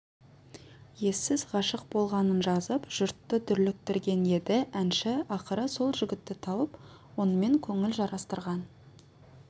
ессіз ғашық болғанын жазып жұртты дүрліктірген еді әнші ақыры сол жігітті тауып онымен көңіл жарастырған